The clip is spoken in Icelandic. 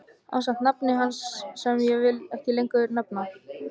Ásamt nafni hans sem ég vil ekki lengur nefna.